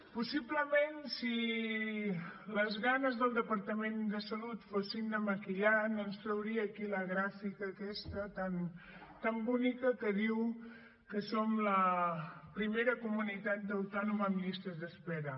possiblement si les ganes del departament de salut fossin de maquillar no ens trauria aquí la gràfica aquesta tan bonica que diu que som la primera comunitat autònoma en llistes d’espera